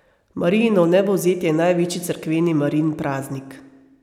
Marijino vnebovzetje je največji cerkveni Marijin praznik.